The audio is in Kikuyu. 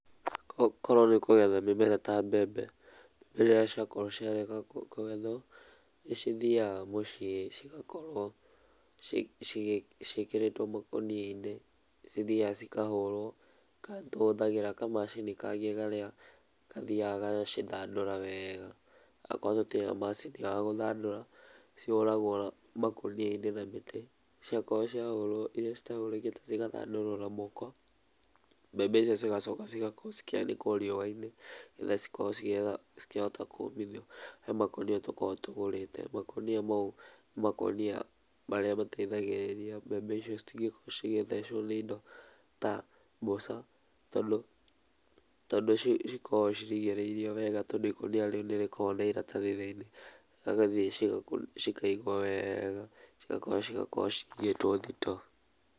Korũo nĩ kũgetha mĩmera ta mbembe , mebembe irĩa cĩakorwo cĩa reka kũgethwo, nĩ cithiaga mũciĩ cigakorwo ci ciĩkĩrĩtwo makũnia inĩ nĩ cithiaga cĩkahũrwo ka nĩtũhũthagĩra kamacini inĩ karĩa gathiaga gagacithandũra wega okorwo gũtĩrĩ na macĩnĩ ĩyo ya gũthandũra nĩ cihũragwo makũnia inĩ na mĩtĩ ciakorwo ciahũrwo irĩa citahũrĩkĩte cigathandũrwo na moko , mbembe icio cigakorwo ikĩanĩkwo rĩũa inĩ nĩgetha igakorwo ikĩhota kũmithio. He makũnia tũkoragwo tũgũrĩte makũnia maũ nĩ makũnia marĩa mateithagĩrĩria mbembe icio citĩngĩkorwo cigĩthecwo nĩ indo ta mbũca nĩ tondũ nĩ cĩkoragwo irigĩrĩirwo wega tondũ ĩkũnĩa rĩũ nĩ rĩkoragwo na ĩratathi thĩinĩ cigagĩthiĩ ciga cikaigwo wega cigakorwo cigĩtwo thitoo.